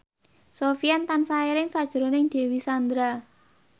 Sofyan tansah eling sakjroning Dewi Sandra